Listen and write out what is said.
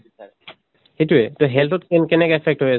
সেইটোয়ে তʼ health ত কেনেকে affect হৈ